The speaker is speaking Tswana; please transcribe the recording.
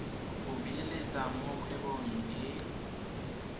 go beeletsa mo kgwebong e